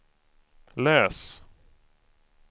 läs